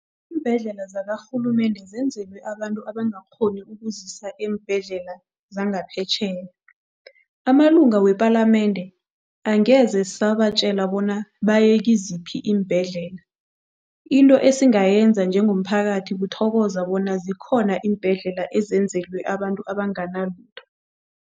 Iimbhedlela zakarhulumende zenzelwe abantu abangakghoni ukuzisa eembhedlela zangaphetjheya. Amalunga wepalamende angeze sabatjela bona baye kiziphi iimbhedlela, into esingayenza njengomphakathi kuthokoza bona zikhona iimbhedlela ezenzelwe abantu abanganalutho.